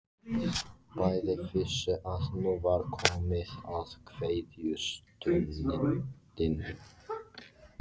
Bæði vissu að nú var komið að kveðjustundinni.